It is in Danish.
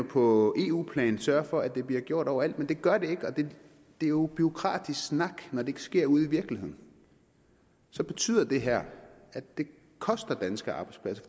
på eu plan sørge for at det bliver gjort overalt men det gør det ikke det er jo bureaukratisk snak når det ikke sker ude i virkeligheden så betyder det her at det koster danske arbejdspladser